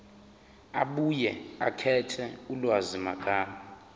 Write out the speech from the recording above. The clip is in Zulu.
abuye akhethe ulwazimagama